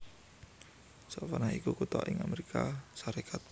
Savannah iku kutha ing Amérika Sarékat